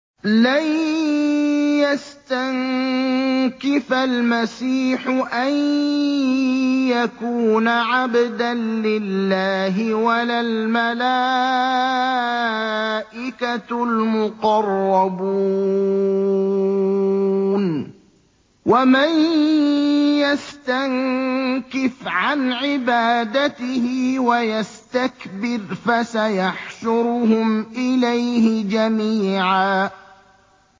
لَّن يَسْتَنكِفَ الْمَسِيحُ أَن يَكُونَ عَبْدًا لِّلَّهِ وَلَا الْمَلَائِكَةُ الْمُقَرَّبُونَ ۚ وَمَن يَسْتَنكِفْ عَنْ عِبَادَتِهِ وَيَسْتَكْبِرْ فَسَيَحْشُرُهُمْ إِلَيْهِ جَمِيعًا